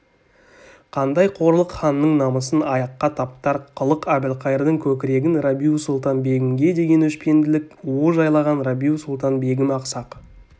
қандай қорлық ханның намысын аяққа таптар қылық әбілқайырдың көкірегін рабиу-сұлтан-бегімге деген өшпенділік уы жайлаған рабиу-сұлтан-бегім ақсақ